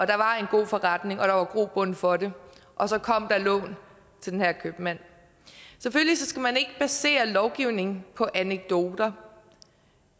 der var en god forretning og der var grobund for det og så kom der lån til den her købmand selvfølgelig skal man ikke basere lovgivning på anekdoter